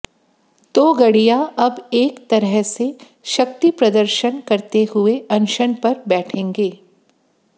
तोगडिय़ा अब एक तरह से शक्ति प्रदर्शन करते हुए अनशन पर बैठेंगे